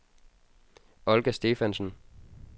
Olga Stephansen